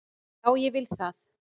Já, ég vil það.